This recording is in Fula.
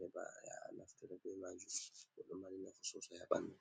hebaya naftira be majum bodo mari nafu sosa habandu.